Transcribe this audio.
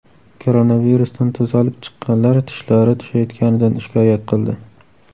Koronavirusdan tuzalib chiqqanlar tishlari tushayotganidan shikoyat qildi.